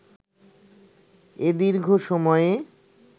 এ দীর্ঘ সময়ে